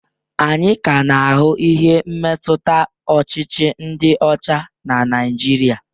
Anyị ka na-ahụ ihe mmetụta ọchịchị ndị ọcha na Naịjirịa.